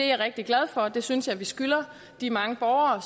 jeg rigtig glad for og det synes jeg vi skylder de mange borgere